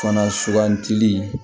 Fana sugantili